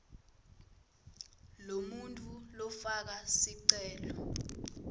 lomuntfu lofaka sicelo